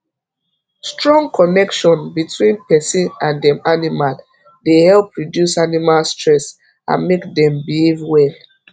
strong connection between person and dem animal dey help reduce animal stress and make dem behave well